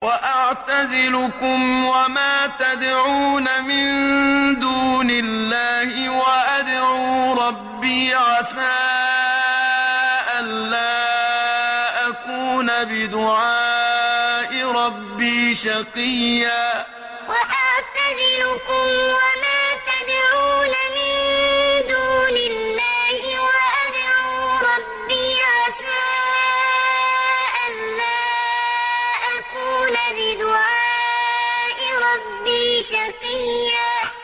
وَأَعْتَزِلُكُمْ وَمَا تَدْعُونَ مِن دُونِ اللَّهِ وَأَدْعُو رَبِّي عَسَىٰ أَلَّا أَكُونَ بِدُعَاءِ رَبِّي شَقِيًّا وَأَعْتَزِلُكُمْ وَمَا تَدْعُونَ مِن دُونِ اللَّهِ وَأَدْعُو رَبِّي عَسَىٰ أَلَّا أَكُونَ بِدُعَاءِ رَبِّي شَقِيًّا